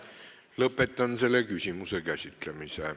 Lõpetan selle küsimuse käsitlemise.